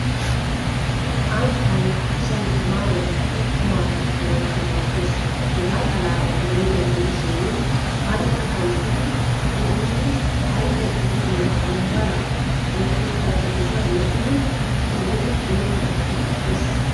Ankkay asay tamaa eettidi qumma kattanawukka maaddees. Hegaa xalaala gidennan diishshin an a qanxxiidi epiidi algga giididee wombbaraa woykko xarapheezza meedhdhidi son go"ettanawukka maaddees.